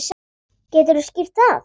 Geturðu skýrt það?